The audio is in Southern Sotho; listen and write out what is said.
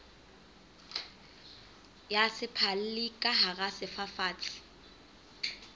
ya sephalli ka hara sefafatsi